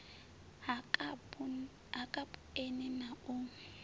ha kapu eni na u